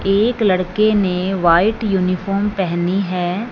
एक लड़के ने व्हाइट यूनिफॉर्म पहनी है।